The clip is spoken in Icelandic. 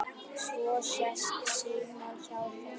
Svo sest Símon hjá þeim